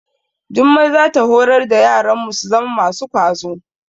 Jummai za ta horar da yaranmu su zama masu kwazo.